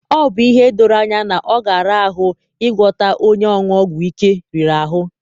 Ọ bụ ihe doro anya na ọ ga-ara ahụ ịgwọta onye ịṅụ ọgwụ ike riri ahụ.